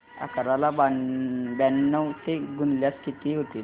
अकरा ला ब्याण्णव ने गुणल्यास किती होतील